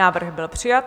Návrh byl přijat.